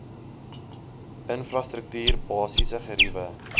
infrastruktuur basiese geriewe